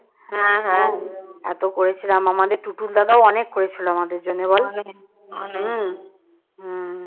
এত করেছিলাম আমাদের টুটুল দাদাও অনেক করেছিল আমাদের জন্য।